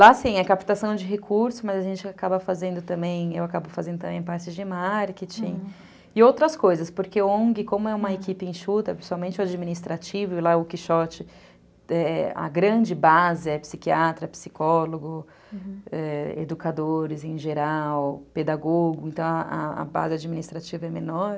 Lá assim, é captação de recursos, mas a gente acaba fazendo também, eu acabo fazendo também partes de marketing, uhum, e outras coisas, porque o ongue, como é uma equipe enxuta, principalmente o administrativo, lá o Quixote, a grande base é psiquiatra, psicólogo, uhum, educadores em geral, pedagogo, então a a base administrativa é menor.